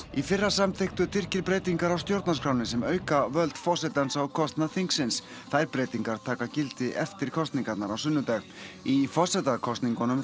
í fyrra samþykktu Tyrkir breytingar á stjórnarskránni sem auka völd forsetans á kostnað þingsins þær breytingar taka gildi eftir kosningarnar á sunnudag í forsetakosningunum